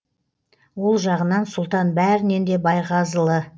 ол жағынан сұлтан бәрінен де байғазылы